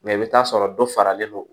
Mɛ i bɛ t'a sɔrɔ dɔ faralen don